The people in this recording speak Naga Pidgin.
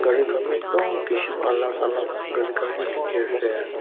gari khan bi ektum alak alak gari khanbi dekhi ase.